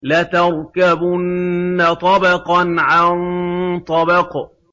لَتَرْكَبُنَّ طَبَقًا عَن طَبَقٍ